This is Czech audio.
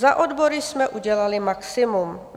Za odbory jsme udělali maximum.